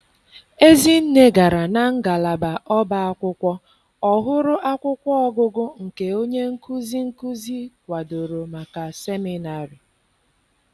Ezinne gara na ngalaba ọba akwụkwọ, ọ hụrụ akwụkwọ ọgụgụ nke onye nkuzi nkuzi kwadoro maka seminarị.